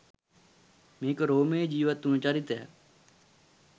මේක රෝමයේ ජිවත් වුන චරිතයක්.